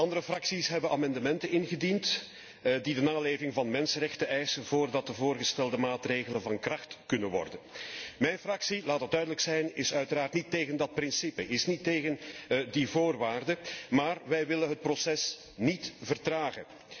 Andere fracties hebben amendementen ingediend die de naleving van de mensenrechten eisen voordat de voorgestelde maatregelen van kracht kunnen worden. Mijn fractie laat dat duidelijk zijn is uiteraard niet tegen dat principe, is niet tegen die voorwaarde, maar wij willen het proces niet vertragen.